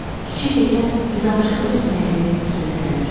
Kiçik təkən üzüaşağı üzməyimi sürətləndirdi.